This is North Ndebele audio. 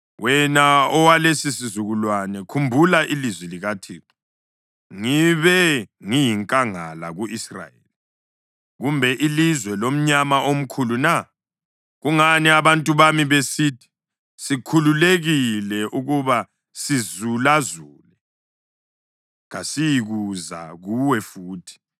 Wena owalesisizukulwane, khumbula ilizwi likaThixo: Ngibe ngiyinkangala ku-Israyeli kumbe ilizwe lomnyama omkhulu na? Kungani abantu bami besithi, ‘Sikhululekile ukuba sizulazule; kasiyikuza kuwe futhi’?